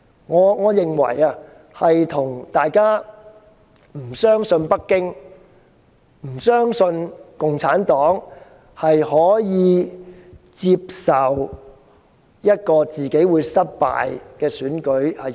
我認為，這與大家不相信北京或共產黨可以接受一次失敗的選舉。